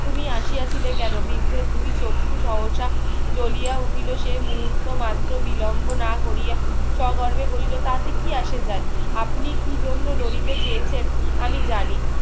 তুমি আসিয়াছিলে কেন? বিদ্ধের দুই চক্ষু সহসা জ্বলিয়া উঠিল সে মুহূর্ত মাত্র বিলম্ব না করিয়া সগর্বে বলিল তাতে কি আসে যাই আপনি কি জন্য লরিতে চেয়েছেন আমি জানি